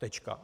Tečka.